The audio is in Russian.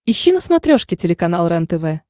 ищи на смотрешке телеканал рентв